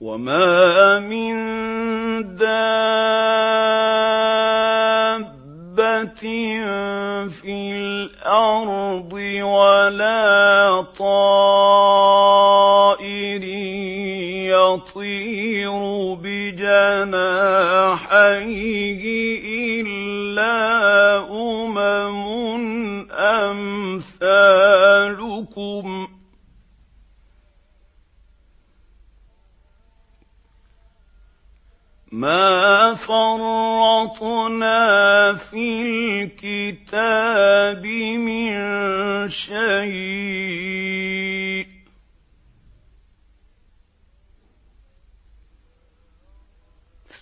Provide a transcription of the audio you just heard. وَمَا مِن دَابَّةٍ فِي الْأَرْضِ وَلَا طَائِرٍ يَطِيرُ بِجَنَاحَيْهِ إِلَّا أُمَمٌ أَمْثَالُكُم ۚ مَّا فَرَّطْنَا فِي الْكِتَابِ مِن شَيْءٍ ۚ